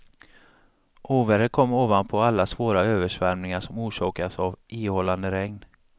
Ovädret kom ovanpå alla svåra översvämningar som orsakats av ihållande regn.